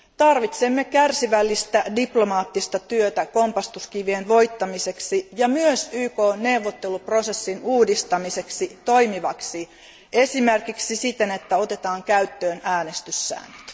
Tarvitsemme kärsivällistä diplomaattista työtä kompastuskivien voittamiseksi ja myös YKn neuvotteluprosessin uudistamiseksi toimivaksi, esimerkiksi siten, että otetaan käyttöön äänestyssäännöt.